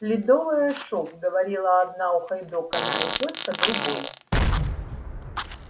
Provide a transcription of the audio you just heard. ледовое шоу говорила одна ухайдоканная тётка другой